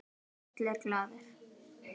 Allir glaðir.